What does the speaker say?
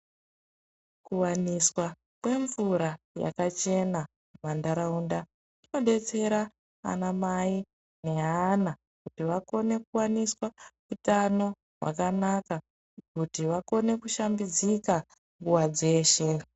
Kuwaniswa kwemvura yakachena pantaraunda kunodetsera vana mai nevana kuti vakone kuwaniswa utano hwakanaka Kuti vakone kushambidzika nguwa dzeshe.